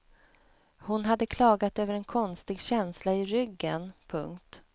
Hon hade klagat över en konstig känsla i ryggen. punkt